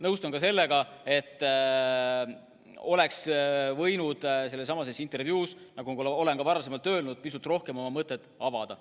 Nõustun ka sellega, nagu ma olen varem juba öelnud, et oleks võinud sellessamas intervjuus pisut rohkem oma mõtet avada.